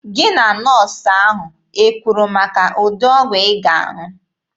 Gị na nọọsụ ahụ ekwuru maka ụdị ọgwụ ị ga-aṅụ?